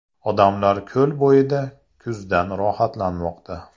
Odamlar ko‘l bo‘yida kuzdan rohatlanmoqda.